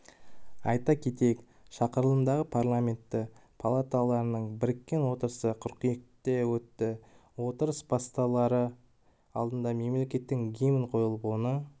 айта кетейік шақырылымдағы парламенті палаталарының біріккен отырысы қыркүйекте өтті отырыс басталар алдында мемлекеттік гимн қойылып оны